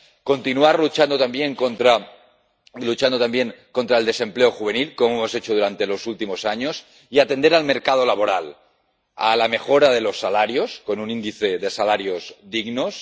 continuar luchando también contra el desempleo juvenil, como hemos hecho durante los últimos años atender al mercado laboral, a la mejora de los salarios, con un índice de salarios dignos